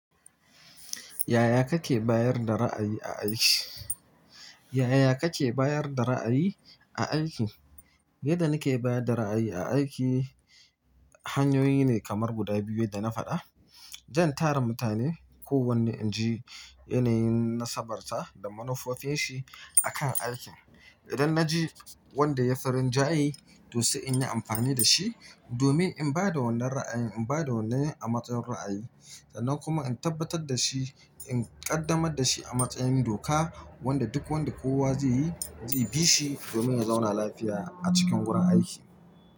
Yaya kake bayar da ra'ayi a aiki? Yaya kake bayar da ra'ayi a aiki? Yadda nike bayar da ra'ayi a aiki hanyoyi ne kamar guda biyu da na faɗa. Jan tara mutane, kowanne inji yanayin na sabarsa da manufofinshi akan aikin. Idan na ji wanda yafi rinja ye to sai in yi amfani da shi domin in ba da wannan ra'ayin, in ba da wannan a matsayin ra'ayi sannan kuma in tabbatar da shi, in ƙaddamar da shi a matsayin doka wanda duk wanda kowa zai yi, zai bi shi domin ya zauna lafiya a cikin wurin aiki.